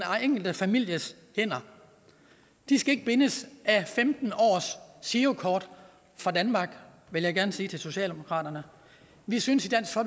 enkelte families hænder de skal ikke bindes af femten års girokort fra danmark vil jeg gerne sige til socialdemokratiet vi synes